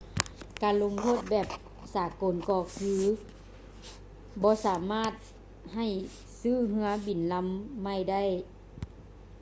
ການລົງໂທດແບບສາກົນກໍຄືບໍ່ສາມາດໃຫ້ຊື້ເຮືອບິນລຳໃໝ່ໄດ້